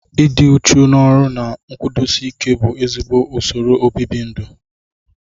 Ịdị uchu n'ọrụ na nkwụdosi ike bụ ezigbo usoro obibindu